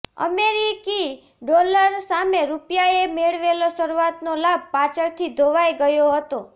અમેરિકી ડોલર સામે રૂપિયાએ મેળવેલો શરૂઆતનો લાભ પાછળથી ધોવાઈ ગયો હતો